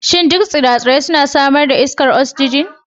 Shin duk tsire-tsire suna samar da iskar oxygen?